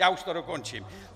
Já už to dokončím.